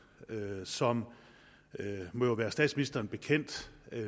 som det må være statsministeren bekendt